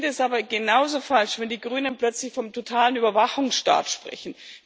Ich finde es aber genauso falsch, wenn die Grünen plötzlich vom totalen Überwachungsstaat sprechen.